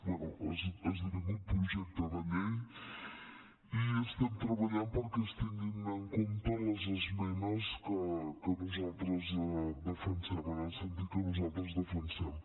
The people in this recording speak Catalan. bé ha esdevingut projecte de llei i estem treballant perquè es tinguin en compte les esmenes que nosaltres defensem en el sentit que nosaltres defensem